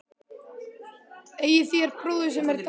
Eigið þér bróður, sem er dáinn?